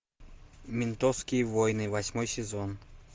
ментовские войны восьмой сезон